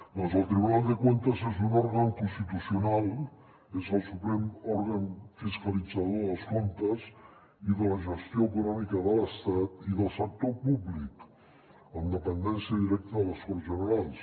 doncs el tribunal de cuentas és un òrgan constitucional és el suprem òrgan fiscalitzador dels comptes i de la gestió econòmica de l’estat i del sector públic amb dependència directa de les corts generals